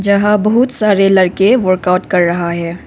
जहां बहुत सारे लड़के वर्कआउट कर रहा है।